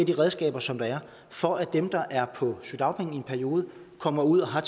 de redskaber som der er for at dem der er på sygedagpenge i en periode kommer ud og har